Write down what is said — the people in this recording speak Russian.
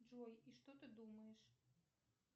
джой и что ты думаешь